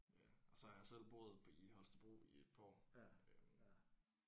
Ja og så har jeg selv boet i Holstebro i et par år øh